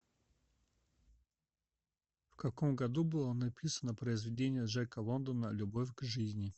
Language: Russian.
в каком году было написано произведение джека лондона любовь к жизни